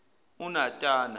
unatana